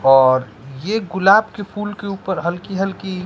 और ये गुलाब के फूल के ऊपर हल्की हल्की--